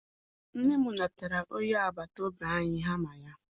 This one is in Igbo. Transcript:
Nne m natara onye agbataobi anyị hama ya.